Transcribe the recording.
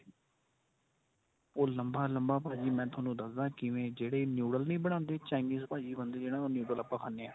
ਉਹ ਲੰਬਾ ਲੰਬਾ ਮੈਂ ਤੁਹਾਨੂੰ ਦੱਸਦਾ ਕਿਵੇਂ ਜਿਹੜੇ Noodles ਨਹੀਂ ਬਣਾਦੇ Chinese ਭਾਜੀ ਬੰਦੇ ਜਿਹਨਾ ਤੋਂ Noodles ਆਪਾਂ ਖਾਨੇ ਆਂ.